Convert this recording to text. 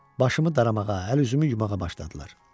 Başımı daramağa, əl-üzümü yumağa başladılar.